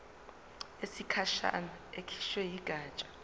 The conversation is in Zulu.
yesikhashana ekhishwe yigatsha